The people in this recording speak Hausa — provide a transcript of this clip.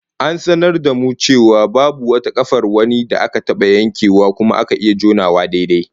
An sanar da mu cewa babu wata kafar wani da aka taba yankewa kuma aka iya jonawa daidai